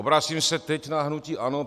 Obracím se teď na hnutí ANO.